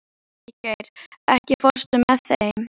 Siggeir, ekki fórstu með þeim?